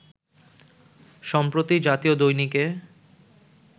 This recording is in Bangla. সম্প্রতি জাতীয় দৈনিকে